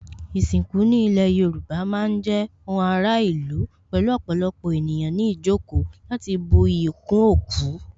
Ìsìnkú ní ilé Yorùbá má ń jẹ́ ohun ara ìlú pẹ̀lú ọ̀pọ̀lọpọ̀ ènìyàn ní ìjókòó láti bu iyì kún òkú